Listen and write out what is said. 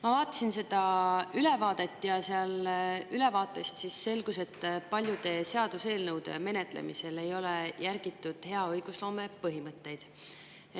Ma vaatasin seda ülevaadet ja ülevaatest selgus, et paljude seaduseelnõude menetlemisel ei ole järgitud hea õigusloome põhimõtteid.